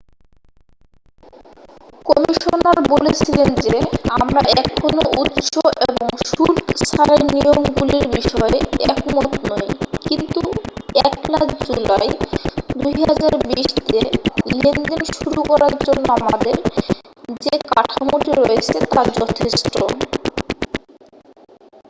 "Commissioner বলেছিলেন যে "আমরা এখনও উৎস এবং শুল্ক ছাড়ের নিয়মগুলির বিষয়ে একমত নই কিন্তু 1'লা জুলাই 2020 তে লেনদেন শুরু করার জন্য আমাদের যে কাঠামোটি রয়েছে তা যথেষ্ট""।